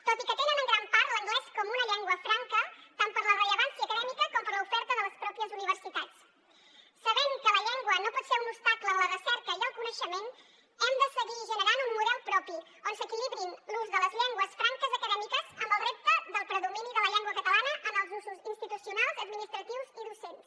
tot i que tenen en gran part l’anglès com una llengua franca tant per la rellevància acadèmica com per l’oferta de les pròpies universitats sabent que la llengua no pot ser un obstacle en la recerca i el coneixement hem de seguir generant un model propi on s’equilibri l’ús de les llengües franques acadèmiques amb el repte del predomini de la llengua catalana en els usos institucionals administratius i docents